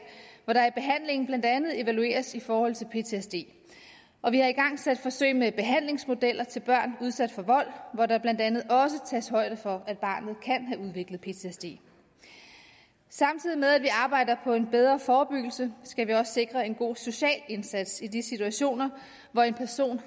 hvor der i behandlingen blandt andet evalueres i forhold til ptsd og vi har igangsat forsøg med behandlingsmodeller til børn udsat for vold hvor der blandt andet tages højde for at barnet kan have udviklet ptsd samtidig med at vi arbejder på en bedre forebyggelse skal vi også sikre en god social indsats i de situationer hvor en person